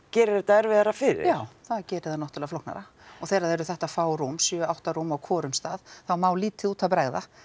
gerir þetta erfiðara fyrir já það gerir það náttúrulega flóknara og þegar það eru þetta fá rúm sjö til átta rúm á hvorum stað þá má lítið út af bregða